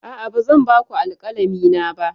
A'a, ba zan ba ku alkalami na ba.